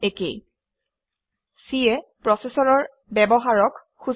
C এ প্ৰচেচৰৰ ব্যৱহাৰক সূচায়